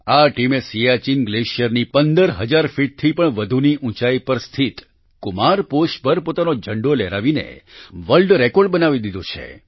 આ ટીમે સિયાચિન ગ્લેશિયરની 15 હજાર ફીટથી પણ વધુની ઉંચાઈ પર સ્થિત કુમાર પોસ્ટ પર પોતાનો ઝંડો લહેરાવીને વર્લ્ડ રેકોર્ડ બનાવી દીધો છે